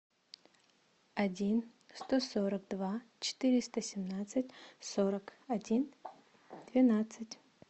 один сто сорок два четыреста семнадцать сорок один двенадцать